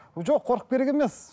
жоқ қорқып керек емес